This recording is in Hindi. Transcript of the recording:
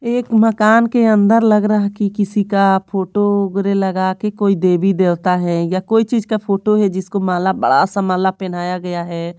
एक मकान के अंदर लग रहा है कि किसी का फोटो वगैरा लगा के कोई देवी देवता है या कोई चीज का फोटो है जिसको माला बड़ासा माला पहनाया गया है।